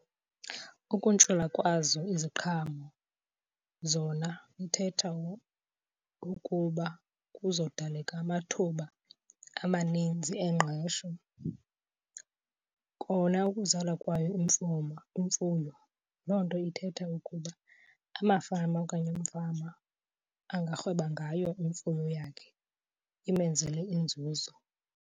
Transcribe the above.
Ukuntshula kwazo iziqhamo zona ithetha ukuba kuzodaleka amathuba amaninzi engqesho. Kona ukuzalwa kwayo imfuyo loo nto ithetha ukuba amafama okanye umfama angarhweba ngayo imfuyo yakhe imenzele inzuzo.